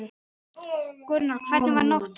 Gunnar: Hvernig var nóttin?